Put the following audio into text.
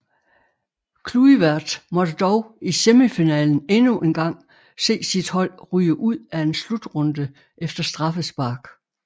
Kluivert måtte dog i semifinalen endnu engang se sit hold ryge ud af en slutrunde efter straffespark